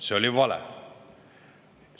See oli vale!